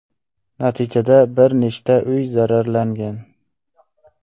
Natijada bir nechta uy zararlangan.